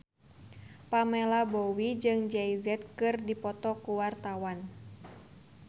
Pamela Bowie jeung Jay Z keur dipoto ku wartawan